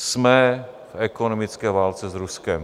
Jsme v ekonomické válce s Ruskem.